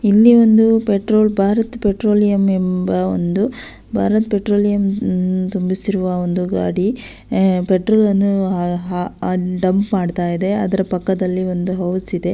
ಇಲ್ಲಿ ಒಂದು petrol Bharat Petroleum ಎಂಬ ಒಂದು ಬಾರತ ಪೆಟ್ರೋಲಿಯಂ ತುಂಬಿಸಿರುವ ಗಾಡಿ ಪೆಟ್ರೋಲ್ ಅನ್ನು ಅಹ್ ಅಹ್ ಡಂಪ್ ಮಾಡತ್ತಾ ಇದೆ ಅದ್ರ ಪಕ್ಕದಲ್ಲಿ ಒಂದು ಹೌಸ್ ಇದೆ.